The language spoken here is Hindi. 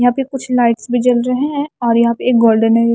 यहां पे कुछ लाइट्स भी जल रहे हैं और यहां पे एक गोल्डेन --